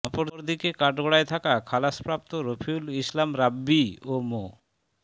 অপরদিকে কাঠগড়ায় থাকা খালাসপ্রাপ্ত রাফিউল ইসলাম রাব্বি ও মো